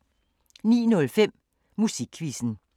09:05: Musikquizzen